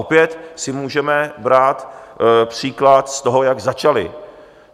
Opět si můžeme brát příklad z toho, jak začali.